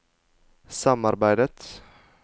samarbeidet